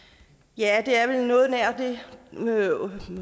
ja det er vel noget nær det